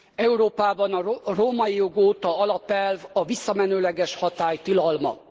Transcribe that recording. Európában a római jog óta alapelv a visszamenőleges hatály tilalma.